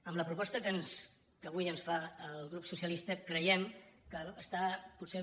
amb la proposta que avui ens fa el partit socialista creiem que està potser